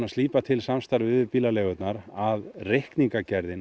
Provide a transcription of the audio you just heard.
slípa til samstarfið við bílaleigurnar að